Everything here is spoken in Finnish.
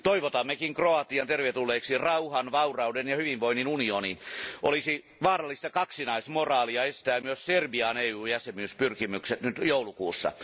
Toivotammekin Kroatian tervetulleeksi rauhan, vaurauden ja hyvinvoinnin unioniin. Olisi vaarallista kaksinaismoraalia estää myös Serbian EU jäsenyyspyrkimykset nyt joulukuussa.